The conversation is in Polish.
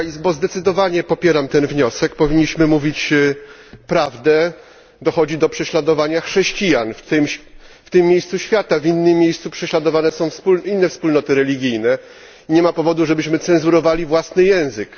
Zdecydowanie popieram ten wniosek. Powinniśmy mówić prawdę dochodzi do prześladowania chrześcijan w tym miejscu świata. W innych miejscach prześladowane są inne wspólnoty religijne i nie ma powodu, żebyśmy cenzurowali własny język.